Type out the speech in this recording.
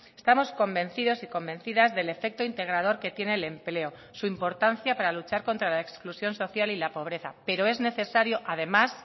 estamos convencidos y convencidas del efecto integrador que tiene el empleo su importancia para luchar contra la exclusión social y la pobreza pero es necesario además